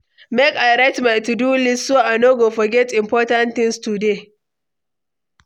Make I write my to-do list so I no go forget important things today.